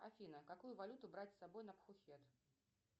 афина какую валюту брать с собой на пхукет